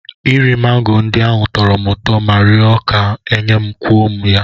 Iri mango ndị ahụ tọrọ m ụtọ ma rịọ ka e nye kwuo m ya.